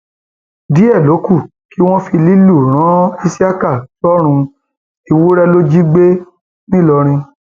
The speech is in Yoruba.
díẹ ló kù kí wọn fi lílù ran isiaka sọrùn ewúrẹ ló jí gbé ńìlọrin